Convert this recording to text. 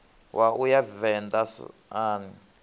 wa u ya venḓa sun